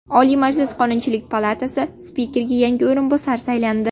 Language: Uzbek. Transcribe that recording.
Oliy Majlis Qonunchilik palatasi spikeriga yangi o‘rinbosar saylandi.